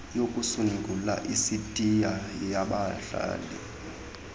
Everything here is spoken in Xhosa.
yokusungula isitiya yabahlali